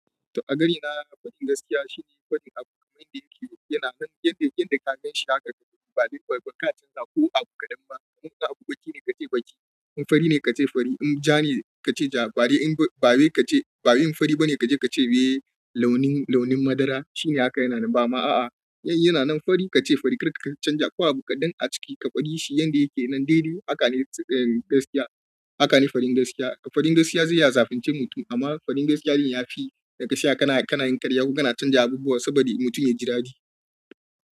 To a gani na, faɗin gaskiya shine faɗin abu kamar yanda yake yana nan, yanda ka gan shi haka ba dai baka canza ko abu kaɗan ba. Inda abu baki ne kace baki, in fari ne ka ce fari, in ja ne kace ja, ba dai in fari ba ne kaje ka ce eh launin launin madara shine haka yana nan. Bama a'a, in yana nan fari ka ce fari kar ka canja ko abu kaɗan a ciki, ka fade shi yanda yake nan dai dai haka ne, gaskiya haka ne faɗin gaskiya. Faɗin gaskiya zai iya zafince mutum amma faɗin gaskiya din yafi, da ka tsaya kana kana yin karya ko kana canja abubuwa saboda mutum ya ji daɗi.